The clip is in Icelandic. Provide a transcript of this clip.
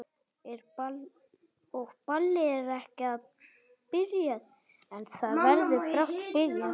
Og ballið er ekki byrjað.